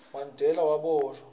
mandela waboshwa